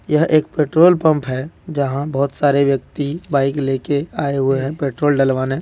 यह एक petrol pump है जहां बहुत सारे व्यक्ति बाइक लेके आए हुए है पेट्रोल डलवाने।